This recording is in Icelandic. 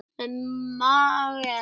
Með Megasi.